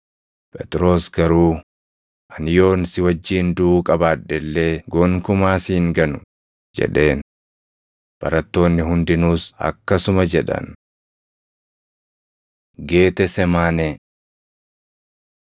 Phexros garuu, “Ani yoon si wajjin duʼuu qabaadhe illee gonkumaa si hin ganu” jedheen. Barattoonni hundinuus akkasuma jedhan. Geetesemaanee 26:36‑46 kwf – Mar 14:32‑42; Luq 22:40‑46